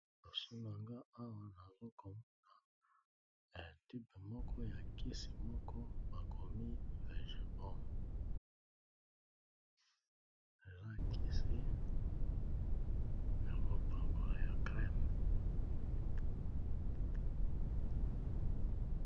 Liboso nanga awa nazo komona tube moko ya kisi moko bakomi vegebom eza kisi ya kopakola ya creme.